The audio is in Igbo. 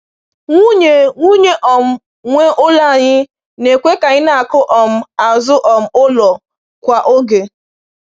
Nwunye Nwunye um nwe ụlọ anyị na-ekwe ka anyị na-akụ um azụ um ụlọ kwa oge.